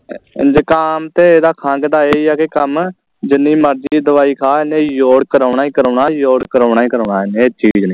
ਜ਼ੁਕਾਮ ਤੇ ਇਹ ਦਾ ਖੰਗ ਦਾ ਇਹ ਹੀ ਆ ਕੇ ਕੰਮ ਜਿੰਨੀ ਮਰਜੀ ਦਵਾਈ ਖਾ ਇਹਨੇ ਜ਼ੋਰ ਕਰਾਉਣਾ ਹੀ ਕਰਾਉਣਾ ਜ਼ੋਰ ਕਰਾਉਣਾ ਹੀ ਕਰਾਉਣਾ ਇਹਨੇ ਆ ਚੀਜ਼ ਨੇ